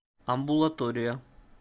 амбулатория